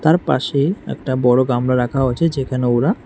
তার পাশে একটা বড়ো গামলা রাখা হয়েছে যেখানে ওরা--